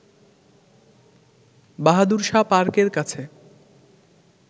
বাহাদুর শাহ পার্কের কাছে